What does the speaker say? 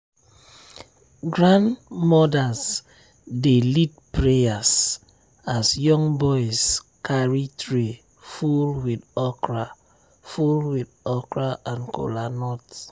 grandmothers dey lead prayer as young boys carry tray full with okra full with okra and kolanut.